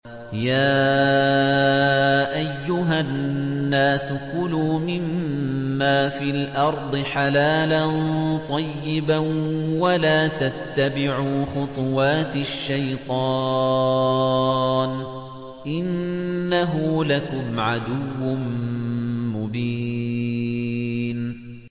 يَا أَيُّهَا النَّاسُ كُلُوا مِمَّا فِي الْأَرْضِ حَلَالًا طَيِّبًا وَلَا تَتَّبِعُوا خُطُوَاتِ الشَّيْطَانِ ۚ إِنَّهُ لَكُمْ عَدُوٌّ مُّبِينٌ